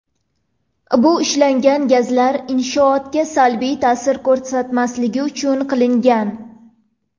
Bu ishlangan gazlar inshootga salbiy ta’sir ko‘rsatmasligi uchun qilingan.